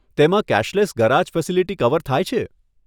તેમાં cashless garage facility cover થાય છે?